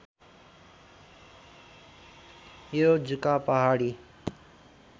यो जुका पहाडी